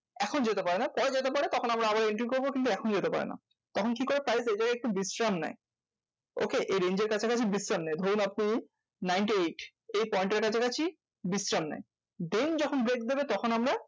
এখন যেতে পারেনা পরে যেতে পারে তখন আমরা entry করবো। কিন্তু এখন যেতে পারেনা। তখন কি করে? price এইজায়গায় একটু বিশ্রাম নেয়। okay এই range এর কাছাকাছি বিশ্রাম নেয়। ধরুন আপনি ninety eight এই point এর কাছাকাছি বিশ্রাম নেয়। then যখন break দেবে তখন আমরা